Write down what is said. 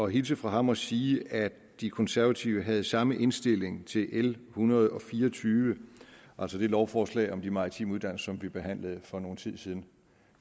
hilse fra ham og sige at de konservative havde samme indstilling til l en hundrede og fire og tyve altså det lovforslag om de maritime uddannelser vi behandlede for nogle timer siden